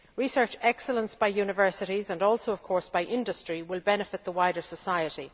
Research excellence by universities and also, of course, by industry will benefit the wider society.